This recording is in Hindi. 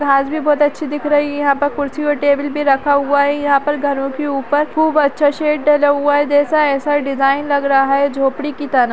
घास भी बहुत अच्छी दिख रही है यहा पर कुर्सी और टेबल भी रखा हुआ है यहा पर घरों के ऊपर खूब अच्छा शेड डला हुआ है जैसा ऐसा ये डिजाइन लग रहा है झोपड़ी की तरह।